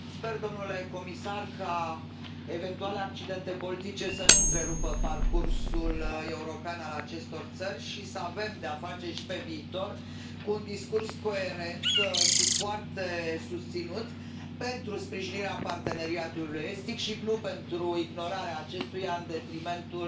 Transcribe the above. Sper, domnule comisar, ca eventuale accidente politice să nu întrerupă parcursul european al acestor țări și să avem de a face și pe viitor cu un discurs coerent și foarte susținut pentru sprijinirea Parteneriatului estic și nu pentru ignorarea acestuia în detrimentul